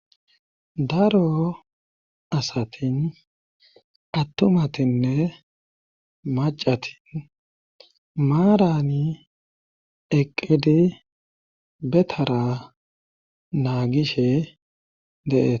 daro asatin attumatinne macatin maarani eqqidi betara naagishe dee'tees